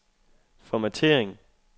formattering